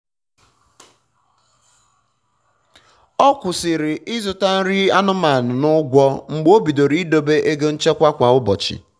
ọ kwụsịrị ịzụta nri anụmanụ n'ụgwọ mgbe o bidoro ịdobe ego nchekwa kwa ụbochị